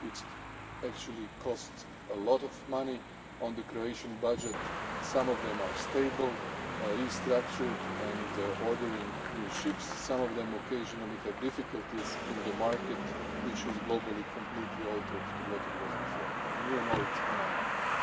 distress. It actually cost a lot of money in the Croatian budget. Some of them are stable, restructured and ordering new ships. Some of them occasionally have difficulties in the market which has globally completely altered to what it was before. You know it and